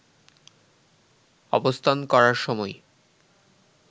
অবস্থান করার সময়